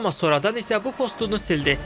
Amma sonradan isə bu postunu sildi.